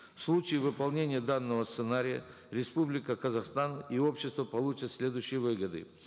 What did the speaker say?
в случае выполнения данного сценария республика казахстан и общество получит следующие выгоды